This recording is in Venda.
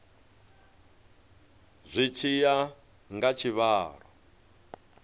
zwi tshi ya nga tshivhalo